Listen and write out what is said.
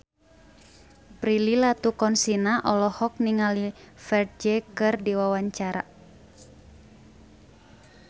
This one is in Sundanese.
Prilly Latuconsina olohok ningali Ferdge keur diwawancara